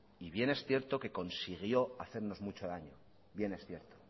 y bien es cierto que consiguió hacernos mucho daño bien es cierto